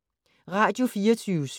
Radio24syv